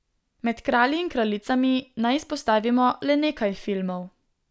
Med Kralji in kraljicami naj izpostavimo le nekaj filmov.